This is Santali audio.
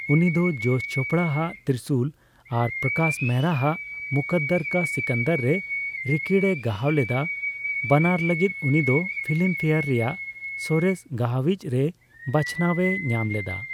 ᱩᱱᱤ ᱫᱚ ᱡᱚᱥ ᱪᱳᱯᱲᱟᱟᱜ 'ᱛᱨᱤᱥᱩᱞ' ᱟᱨ ᱯᱚᱠᱟᱥ ᱢᱮᱦᱚᱨᱟ ᱟᱜ 'ᱢᱩᱠᱠᱚᱫᱟᱨ ᱠᱟ ᱥᱤᱠᱟᱱᱫᱟᱨ' ᱨᱮ ᱨᱤᱠᱤᱲ ᱮ ᱜᱟᱦᱟᱣ ᱞᱮᱫᱟ, ᱵᱟᱱᱟᱨ ᱞᱟᱹᱜᱤᱫ ᱩᱱᱤ ᱫᱚ ᱯᱷᱤᱞᱤᱢ ᱯᱷᱮᱭᱟᱨ ᱨᱮᱭᱟᱜ ᱥᱚᱨᱮᱥ ᱜᱟᱦᱟᱭᱤᱪ ᱨᱮᱭ ᱵᱟᱪᱷᱟᱱᱟᱣ ᱮ ᱧᱟᱢᱞᱮᱫᱟ ᱾